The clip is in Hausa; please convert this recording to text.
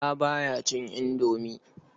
Bala ba ya cin indomi.